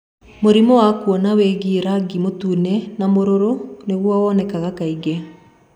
Mũrimũ wa kuona wigie rangi mũtune na mũruru nĩguo wonekaga kaingĩ.